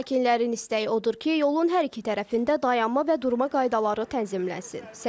Sakinlərin istəyi odur ki, yolun hər iki tərəfində dayanma və durma qaydaları tənzimlənsin, səki salınsın.